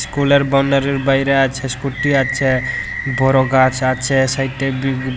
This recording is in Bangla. স্কুলের বাউন্ডারির বাইরে আছে স্কুটি আছে বড় গাছ আছে সাইটে বি--